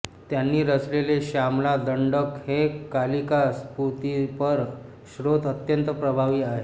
त्यांनी रचलेले शामला दंडक हे कालिका स्तुतिपर स्तोत्र अत्यंत प्रभावी आहे